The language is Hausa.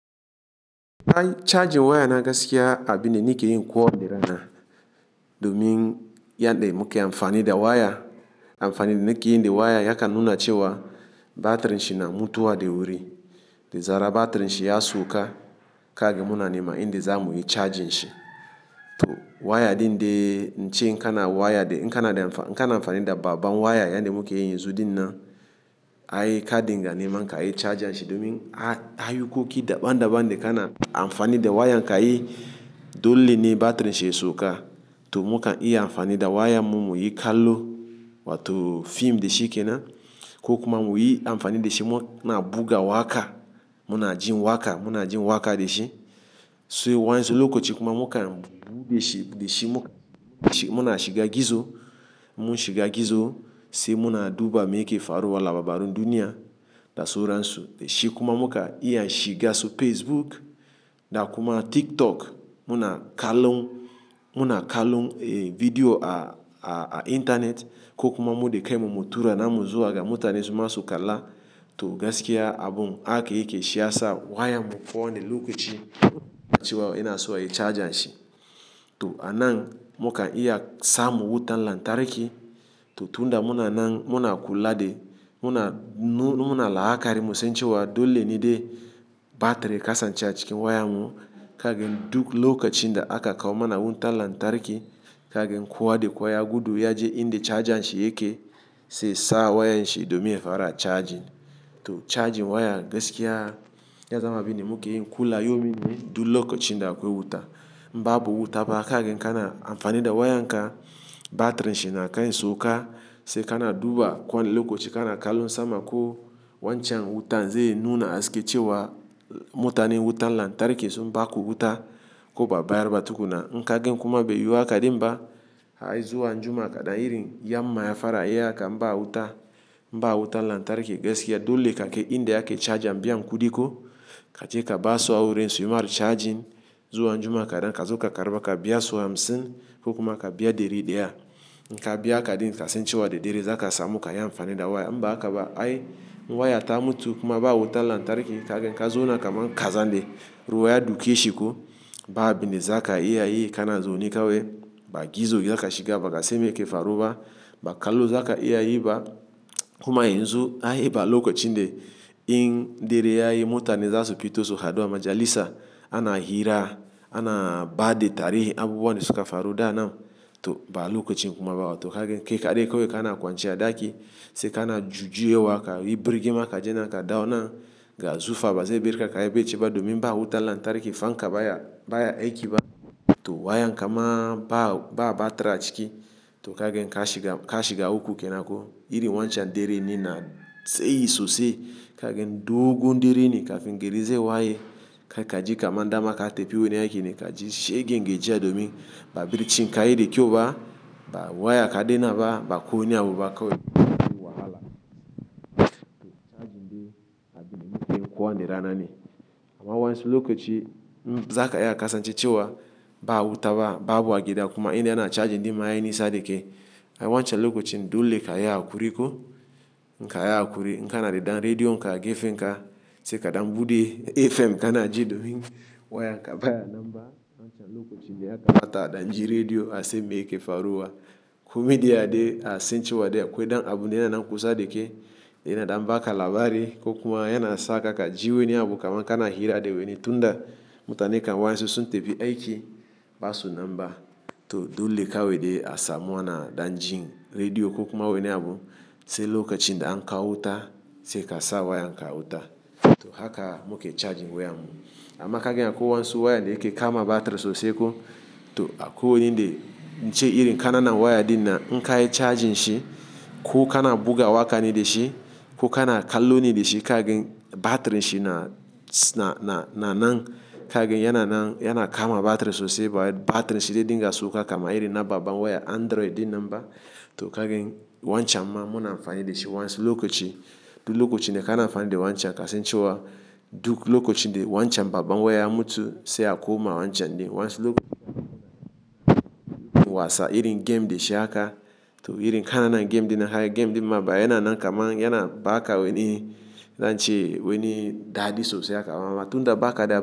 Charji waya na gaskiya abin da nake yi kuwa ne rana domin yadda muke amfani da waya. Amfanin da nake yi da waya ya ka nuna cewa batirin shi na mutuwa da wuri. Da zarar batirin shi ya sauka, kaga muna nema inda za mu yi charging shi. To waya din da in ce kana waya, in kana amfani da babban waya yadda muke yi yanzu dinnan, a yi kaɗinga nema ka yi charging shi domin a yi ayukoki daban daban da kana amfani da waya. In ka yi dole ne batirin shi ya sauka. To muka iya amfani da waya mu muyi kallo wato fim da shi ke nan. Ko kuma muyi amfani da shi mu na buga waƙa, muna jin waƙa, muna jin waƙa da shi. Sai wayansu lokacin kuma muka shiga gizo, mun shiga gizo sai muna duba me ke faruwa labarun duniya da sauransu. Shi kuma muka iya shiga su Facebook da kuma TikTok. Muna kallon, muna kallon bidiyo a intanet ko kuma mu dai kai mu mu tura namu zuwa ga mutanen su masu kalla. To gaskiya abun haka yake shiyasa wayar mu kowa ni lokaci cew ina so a yi charging shi. To a nan muka iya sa mu wutan lantarki. To tun da muna nan muna kula da muna la'akari mu san cewa dole ne dai batiri ka sance a cikin wayar mu. Kagin duk lokacin da aka kawo mana wutan lantarki, kagan kowa da kowa gudu ya je inda charjan shi yake, sai sa wayar shi domin ya fara charging. To charging waya gaskiya ya zama abin da muke yin kulayawmin dai duk lokacin da akwai wuta. Babu wuta ba, kaga kana amfani da waya ka batirin shi na kai sauka, sai kana duba kowani lokaci kana kallon sama ko wancan wutan zai nuna aske cewa mutane wutan lantarki sun ba ku wuta ko ba'a bayar ba tukuna. In kagan kuma bai yiwu haka ba din ba, a yi zuwa anjima kaɗa iri yamma ya fara iya ka ba wuta, ba wutan lantarki gaskiya dole kake inda yake charging biyan kudi ko. Ka je ka ba su awurin suyi ma charging zuwa anjima kaɗan, ka zo ka karɓa ka biya su hamsin ko kuma ka biya deri daya. In ka biya kaɗin ka san cewa da derin za ka samu ka yi amfani da waya. In ba haka ba ai waya ta mutu kuma ba wutan lantarki kagan ka zauna kaman kazan da ruwa ya duke shi ko. Ba abin da za ka iya yi kana zaune ka wai ba. Gizo za ka shiga, ba ka san me ke faruwa, ba kallo za ka iya yi ba. Kuma yanzu a yi ba lokacin da in deriya yi mutane za su fito su haɗu a majalisa, ana hira, ana ba da tarihi abubuwan da suka faru da nan. To ba lokacin kuma ba. To kagin kai kaɗai kawai kana kwanciya daki sai kana jujjuyewa ka yi birge ma ka je nan ka dawo nan ga zufa ba sai birka ka yabe ce ba domin ba wutan lantarki. Fanka baya aiki ba. To wayan kama ba batira ciki. To kagin ka shiga uku kenan ko iri wancan deren dinan tsayi sosai. Kagin dogon dere ne kafin gari zai waye kai ka ji kaman dama ka tafi wuri a yake ne ka ji shegen yake ji domin ba barcin ka yi da kyau ba. Waya kaɗanna ba bako wani abu ba kawai wahala. To charging dai abin da muke yi kowani rana ne. Amma wayansu lokacin za ka iya kasance cewa ba wuta ba, ba abu a gida kuma inda ana charging din ma a yi nisa da ke. Ai wancan lokacin dole ka yi a kuriko. In ka yi a kuri, in ka na da dan rediyo in ka ka gefen ka sai kaɗan buɗe FM ka na ji domin wayan ka baya nan ba. Wancan lokacin daya mata a dan ji rediyo a san me yake faruwa. Ku media dai a san cewa dai akwai dan abu ne anan kusa da ke. Yana dan baka labari ko kuma yana sako ka ji wani abu kaman kana hira da wani. Tunda mutane kan wayansu sun tafi aiki, ba su nan ba. To dole kawai de a samu ana dan jin rediyo ko kuma wani abu. Sai lokacin da an kawo wuta sai ka sa wayan ka wuta. To haka muke charging wayan mu. Amma kagan akwai wasu wayan da yake kama batiri sosai ko to akwai wani dai in ce iri kana nan waya din na in ka yi charging shi ko kana buga waƙa ne da shi ko kana kallo ne da shi kagan batirin shi na nan kagan yana kama batiri sosai. Batirin shi dai dinga sauka kamar iri na babban waya Android din nan ba. To kagan wancan ma muna amfani da shi wayansu lokacin. Duk lokacin dai kana amfani da wancan ka san cewa duk lokacin dai wancan babban waya mutu sai a koma wancan din. Wayansu lokacin wasa, irin game da shi aka to irin kana nan game din na har game din ma baya yana nan kaman yana ba ka wani in ce wani dadi sosai aka mama. Tunda ba ka da.